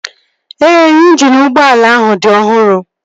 Ee, injini ụgbọala ahụ dị ọhụrụ